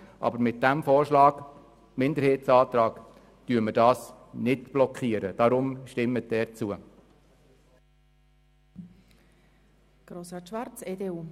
Aber mit unserem Minderheitsantrag blockieren wir diese Möglichkeit nicht.